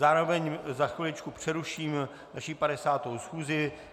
Zároveň za chviličku přeruším naši 50. schůzi.